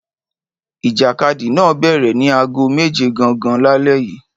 Ìjàkadì náà bẹ̀rẹ̀ ní aago méje gangan lálẹ́ yìí.